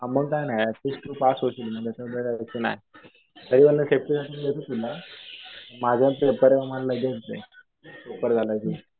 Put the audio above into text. हा मग काही नाही. तू पास होशील. मग यांच्यामध्ये राहिलं मॅथ्स. माझा पेपर आहे मला लगेच दे पेपर झाला कि.